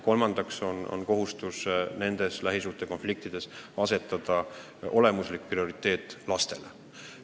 Kolmandaks on meil kohustus nendes lähisuhtekonfliktides eelkõige arvestada laste huve.